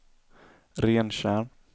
Rentjärn